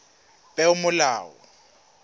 peomolao